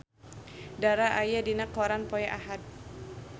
Dara aya dina koran poe Ahad